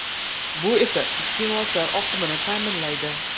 Bu esa iste’molchilar oqimini ta’minlaydi.